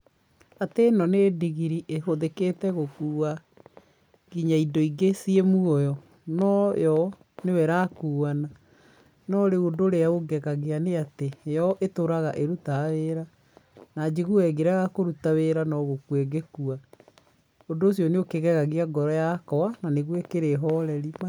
Atĩ ĩno nĩ ndigiri ĩhũthĩkĩte gũkua nginya indo ingĩ ciĩ muoyo, no yo nĩyo irakuana, no rĩu ũndũ ũrĩa ũngegagia nĩ atĩ, yo itũraga ĩrutaga wĩra, na njiguaga ĩngĩrega kũruta wĩra no gũkua ĩngĩkua, ũndũ ũcio nĩ ũkĩgegagia ngoro yakwa na nĩgũo ĩkĩrĩ horeri.